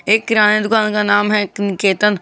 एक किराना दुकान का नाम है एक निकेतन।